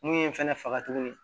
Mun ye n fɛnɛ faga tuguni